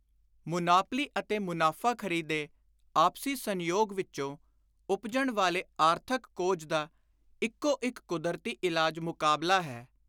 Monopoly ਅਤੇ ਮੁਨਾਫ਼ਾਖ਼ਰੀ ਦੇ ਆਪਸੀ ਸੰਜੋਗ ਵਿਚੋਂ ਉਪਜਣ ਵਾਲੇ ਆਰਥਕ ਕੋਝ ਦਾ ਇਕੋ ਇਕ ਕੁਦਰਤੀ ਇਲਾਜ ‘ਮੁਕਾਬਲਾ’ ਹੈ।